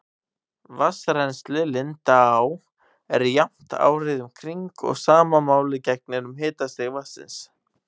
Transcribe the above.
Vatnsrennsli lindáa er jafnt árið um kring og sama máli gegnir um hitastig vatnsins.